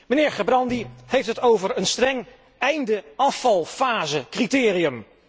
De heer Gerbrandy heeft het over een streng einde afvalfasecriterium.